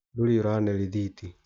Ndũrĩ ũrane rĩthiti.